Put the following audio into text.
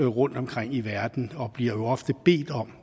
rundtomkring i verden og bliver ofte bedt om